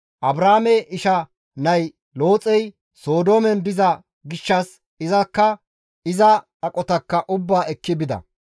Abraame isha nay Looxey, Sodoomen diza gishshas izakka iza aqotaakka ubbaa ekki bida.